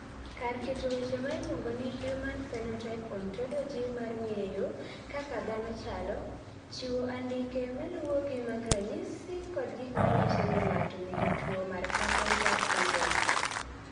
Kar keto weche ma iluongo ni Human Phenotype Ontology mar ng�eyo kaka dhano chalo, chiwo andike ma luwogi mag ranyisi kod gik ma nyiso ni ng�ato nigi tuo mar Carpenter syndrome.